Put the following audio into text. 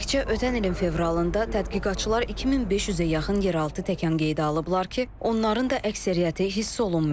Təkcə ötən ilin fevralında tədqiqatçılar 2500-ə yaxın yeraltı təkan qeydə alıblar ki, onların da əksəriyyəti hiss olunmayıb.